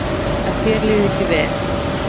Að þér liði ekki vel.